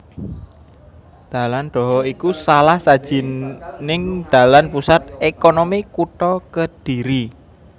Dalan Dhoho iku salah sajining dalan pusat ékonomi kutha Kediri